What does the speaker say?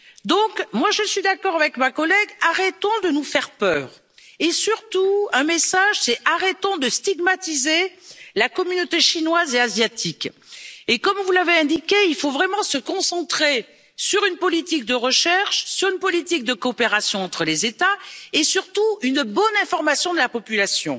Donc, je suis d'accord avec ma collègue, arrêtons de nous faire peur et je voudrais surtout transmettre un message arrêtons de stigmatiser la communauté chinoise et asiatique. Comme vous l'avez indiqué, il faut vraiment se concentrer sur une politique de recherche, sur une politique de coopération entre les États et surtout sur une bonne information de la population,